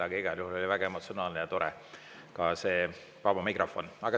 Aga igal juhul oli väga emotsionaalne ja tore see tänane vaba mikrofon.